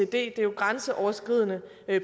det er jo et grænseoverskridende